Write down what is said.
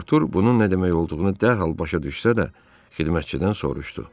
Artur bunun nə demək olduğunu dərhal başa düşsə də, xidmətçidən soruşdu: